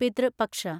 പിതൃ പക്ഷ